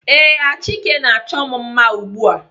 Ee, Achike na-achọ m mma ugbu a.